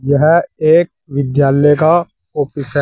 यह एक विद्यालय का ऑफिस है।